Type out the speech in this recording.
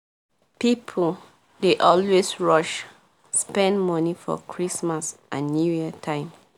people dey always rush spend money for christmas and new year time